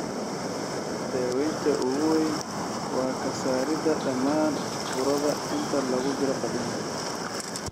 Daawaynta ugu weyn waa ka saarida dhammaan burada inta lagu jiro qaliinka.